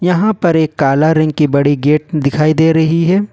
यहां पर एक काला रंग की बड़ी गेट दिखाई दे रही है।